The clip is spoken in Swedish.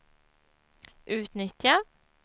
utnyttja